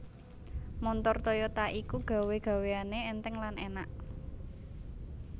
Montor Toyota iku gawe gaweane enteng lan enak